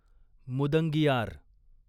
मुदंगियार